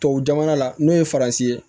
Tubabu jamana la n'o ye faransi ye